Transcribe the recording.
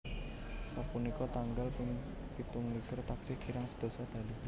Sapunika tanggal ping pitung likur taksih kirang sedasa dalu